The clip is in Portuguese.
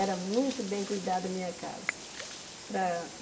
Era muito bem cuidada a minha casa. Para